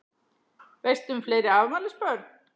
Veistu um fleiri afmælisbörn?